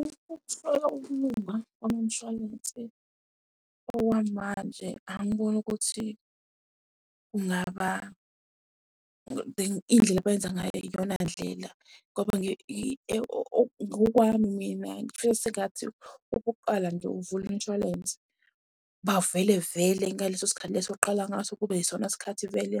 Ukuhlola ukulunga kwemishwalense, okwamanje angiboni ukuthi kungaba indlela abeyenza ngayo iyona ndlela. Ngoba ngokwami mina ngifisa sengathi okokuqala nje uvule umshwalense. Bavele vele ingaleso sikhathi leso oqala ngaso kube yisona sikhathi vele